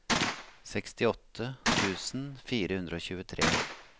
sekstiåtte tusen fire hundre og tjuetre